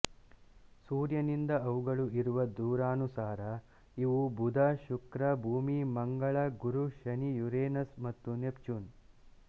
ಸೂರ್ಯನಿಂದ ಅವುಗಳು ಇರುವ ದೂರಾನುಸಾರ ಇವು ಬುಧಶುಕ್ರಭೂಮಿಮಂಗಳಗುರುಶನಿಯುರೇನಸ್ ಮತ್ತು ನೆಪ್ಚೂನ್